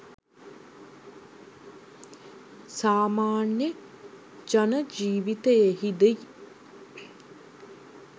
සාමාන්‍ය ජන ජීවිතයෙහිදී